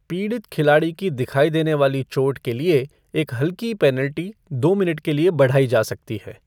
पीड़ित खिलाड़ी की दिखाई देने वाली चोट के लिए एक हल्कि पेनल्टी दो मिनट के लिए बढ़ाई जा सकती है।